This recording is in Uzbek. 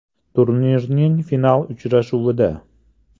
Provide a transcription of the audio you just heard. Turnirning final uchrashuvida.